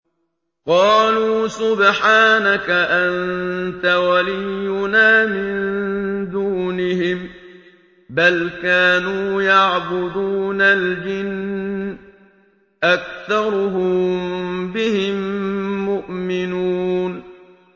قَالُوا سُبْحَانَكَ أَنتَ وَلِيُّنَا مِن دُونِهِم ۖ بَلْ كَانُوا يَعْبُدُونَ الْجِنَّ ۖ أَكْثَرُهُم بِهِم مُّؤْمِنُونَ